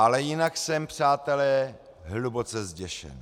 Ale jinak jsem, přátelé, hluboce zděšen.